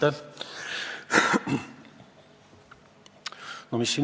Ja see sõltub eeskätt koalitsioonisaadikutest, eesotsas teiega, kes te juhite Riigikogu rahanduskomisjoni.